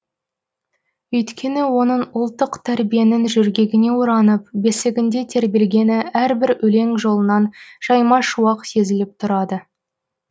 өйткені оның ұлттық тәрбиенің жөргегіне оранып бесігінде тербелгені әрбір өлең жолынан жаймашуақ сезіліп тұрады